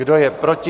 Kdo je proti?